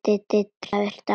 Doddi fer dálítið hjá sér.